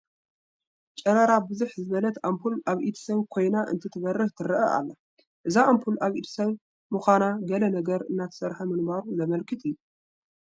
ጨረራ ብዝሕ ዝበለት ኣምፑል ኣብ ኢድ ሰብ ኮይና እንትትበርህ ትርአ ኣላ፡፡ እዛ ኣምፑል ኣብ ኢድ ሰብ ምዃና ገለ ነገር እናተስርሐ ምንባሩ ዘመልክት እዩ፡፡